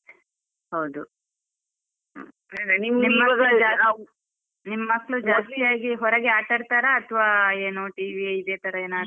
ಹೌದು ನಿಮ್ ಮಕ್ಳು ಜಾಸ್ತಿ ಆಗಿ ಹೊರಗೆ ಆಟಡ್ತಾರಾ ಅತ್ವ ಏನು TV ಇದೆ ತರ ಏನಾದ್ರು.